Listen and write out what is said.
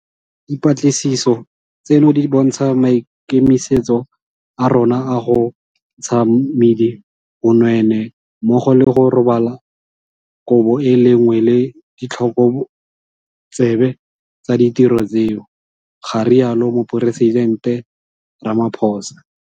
Dipatlisiso tseno di bontsha maikemisetso a rona a go ntsha ka mmidi bonweenwee mmogo le go robala kobo e le nngwe le ditlhokotsebe tsa ditiro tseo, ga rialo Moporesitente Ramaphosa.